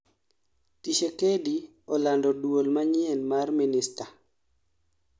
Tshisekedi olando duol manyien mar minista****